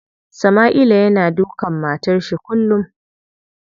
Sama'ila yana dukan matar shi kullum.